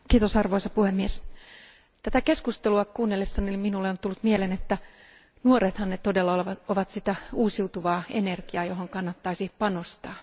Arvoisa puhemies, tätä keskustelua kuunnellessani minulle on tullut mieleen että nuorethan ne todella ovat sitä uusiutuvaa energiaa, johon kannattaisi panostaa.